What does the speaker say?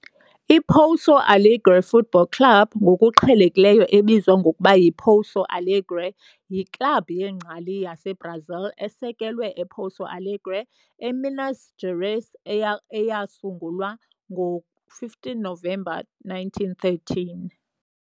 I-Pouso Alegre Futebol Clube, ngokuqhelekileyo ebizwa ngokuba yiPouso Alegre, yiklabhu yengcali yaseBrazil esekelwe ePouso Alegre, eMinas Gerais eyasungulwa ngo-15 Novemba 1913.